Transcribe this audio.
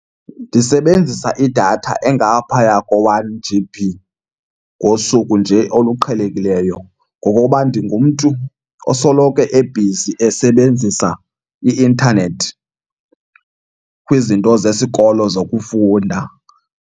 Ndisebenzisa idatha engaphaya ko-one G_B ngosuku nje oluqhelekileyo ngokoba ndingumntu osoloko ebhizi esebenzisa i-intanethi kwizinto zesikolo zokufunda.